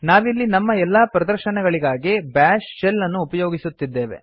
ನಾವಿಲ್ಲಿ ನಮ್ಮ ಎಲ್ಲಾ ಪ್ರದರ್ಶನಗಳಿಗಾಗಿ ಬಾಶ್ ಶೆಲ್ ಅನ್ನು ಉಪಯೋಗಿಸುತ್ತಿದ್ದೇವೆ